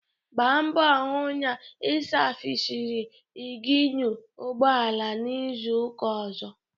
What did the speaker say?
Gba mgbọ hụ na ị savisiri ịnginu ụgbọala n'izuka ọzọ!